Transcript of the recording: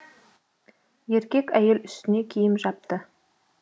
еркек әйел үстіне киім жапты